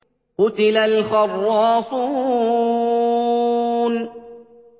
قُتِلَ الْخَرَّاصُونَ